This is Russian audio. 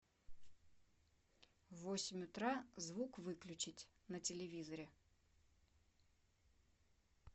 в восемь утра звук выключить на телевизоре